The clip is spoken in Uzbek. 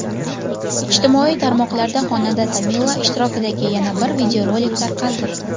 Ijtimoiy tarmoqlarda xonanda Tamila ishtirokidagi yana bir videorolik tarqaldi.